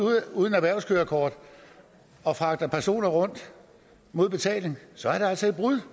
uden et erhvervskørekort og fragter personer rundt mod betaling så er det altså et brud